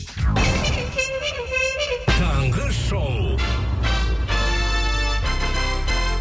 таңғы шоу